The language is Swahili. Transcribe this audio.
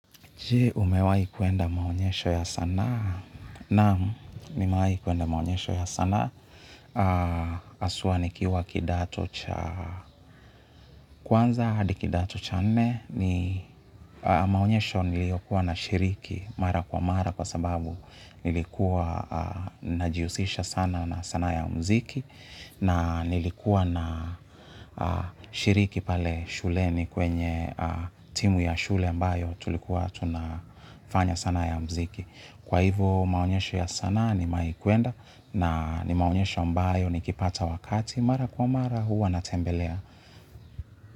Jee, umewai kuenda maonyesho ya sana. Naam nimewai kuenda maonyesho ya sana. Haswa nikiwa kidato cha kwanza, hadi kidato cha nne. Maonyesho niliyokuwa nashiriki mara kwa mara kwa sababu nilikuwa najiusisha sana na sana ya mziki. Na nilikuwa nashiriki pale shule ni kwenye timu ya shule ambayo tulikuwa tunafanya sana ya mziki. Kwa hivo maonyesho ya sanaa nimewaj kuenda na ni maonyesho ambayo nikipata wakati mara kwa mara huwa natembelea.